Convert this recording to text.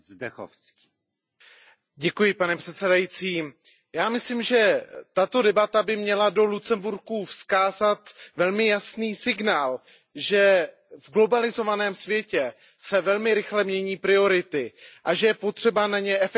Pane předsedající, já myslím, že tato debata by měla do Lucemburku vyslat velmi jasný signál, že v globalizovaném světě se velmi rychle mění priority a že je potřeba na ně efektivně a flexibilně reagovat.